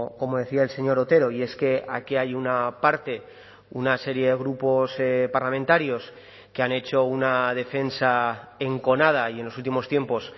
como decía el señor otero y es que aquí hay una parte una serie de grupos parlamentarios que han hecho una defensa enconada y en los últimos tiempos